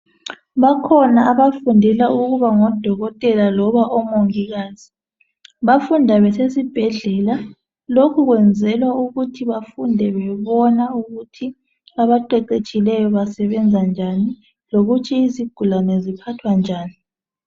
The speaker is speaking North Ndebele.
Bakhona abafundela ukuba ngodokotela loba omongikazi, bafunda besesibhedlela. Lokhu kwenzelwa ukuthi bafunde bebona ukuthi abaqeqetshileyo basebenza njani lokuthi izigulane ziphathwa njani